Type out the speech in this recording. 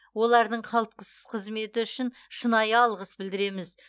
олардың қызметі үшін шынайы алғыс білдіреміз